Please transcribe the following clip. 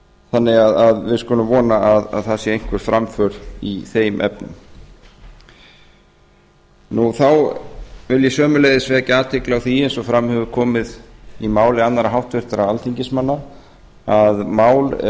þannig að við skulum vona að það sé einhver framför í þeim efnum þá vil ég sömuleiðis vekja athygli á því eins og fram hefur komið í máli annarra háttvirtra alþingismanna að málum er